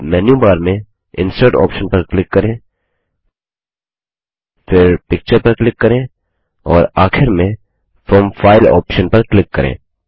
अब मेन्यूबार में insert option पर क्लिक करें फिर पिक्चर पर क्लिक करें और आखिर में फ्रॉम फाइल ऑप्शन पर क्लिक करें